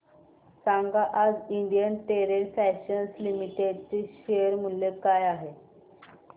सांगा आज Indian Terrain Fashions Limited चे शेअर मूल्य काय आहे